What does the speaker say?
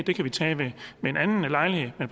det kan vi tage ved en anden lejlighed men